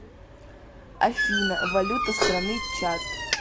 афина валюта страны чад